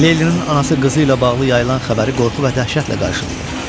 Leylinin anası qızı ilə bağlı yayılan xəbəri qorxu və dəhşətlə qarşılayır.